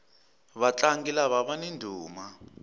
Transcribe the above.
vatlangi lava vani ndhuma